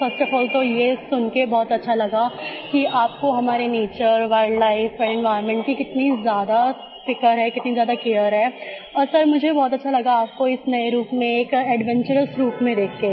first of all तो ये सुनकर अच्छा लगा कि आपको हमारे nature wildlife and environment की कितनी ज्यादा फ़िक्र है कितनी ज्यादा केयर है और सर मुझे बहुत अच्छा लगा आपको इस नये रूप में एक एडवेंचरस रूप में देख के